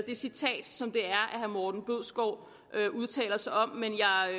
det citat som herre morten bødskov udtaler sig om men